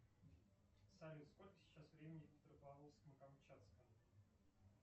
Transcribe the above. салют сколько сейчас времени в петропавловском камчатском